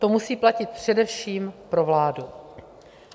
To musí platit především pro vládu.